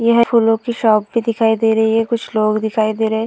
यहाँ फूलों की शॉप भी दिखाई दे रही है। कुछ लोग भी दिखाई दे रहे हैं।